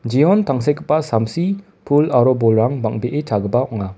jeon tangsekgipa samsi pul aro bolrang bang·bee chagipa ong·a.